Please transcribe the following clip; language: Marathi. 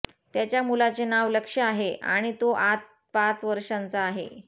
त्याच्या मुलाचे नाव लक्ष्य आहे आणि तो आत पाच वर्षांचा आहे